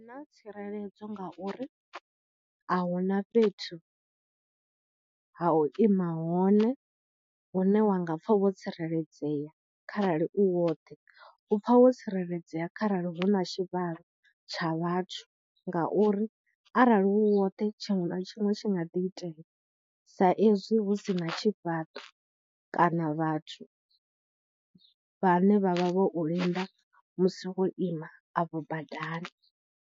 Na tsireledzo ngauri ahuna fhethu ha u ima hone hune wa nga pfha vho tsireledzea kharali u woṱhe, upfha wo tsireledzea kharali huna tshivhalo tsha vhathu ngauri arali u woṱhe tshiṅwe na tshiṅwe tshi nga ḓi itea sa ezwi hu sina tshifhaṱo kana vhathu vhane vha vha vho u linda musi wo ima afho badani.